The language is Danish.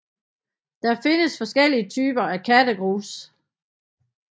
Der findes forskellige typer af kattegrus